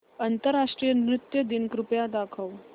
आंतरराष्ट्रीय नृत्य दिन कृपया दाखवच